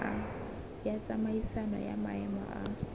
ya tsamaisano ya maemo a